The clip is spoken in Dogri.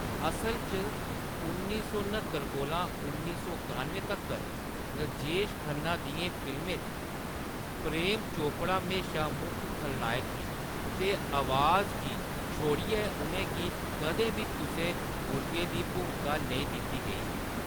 असल च, उन्नी सौ न्हत्तर कोला उन्नी सौ कानुए तक्कर राजेश खन्ना दियें फिल्में च, प्रेम चोपड़ा म्हेशां मुक्ख खलनायक हे ते 'आवाज' गी छोड़ियै उʼनेंगी कदें बी कुसै गुरगे दी भूमका नेईं दित्ती गेई ही।